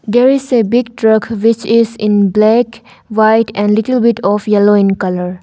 There is a big truck which is in black white and little bit of yellow in colour.